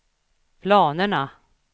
planerna